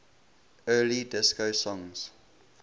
early disco songs